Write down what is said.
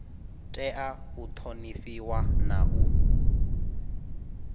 tea u thonifhiwa na u